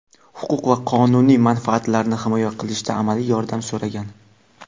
huquq va qonuniy manfaatlarini himoya qilishda amaliy yordam so‘ragan.